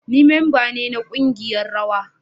Ni memba ne na kungiyar rawa